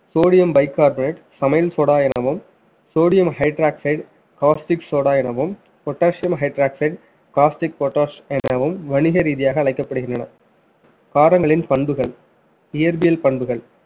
sodium bicarbonate சமையல் சோடா எனவும் sodium hydroxide corstick சோடா எனவும் potassium hydroxide costic potass எனவும் வணிக ரீதியாக அழைக்கப்படுகின்றன காரங்களின் பண்புகள் இயற்பியல் பண்புகள்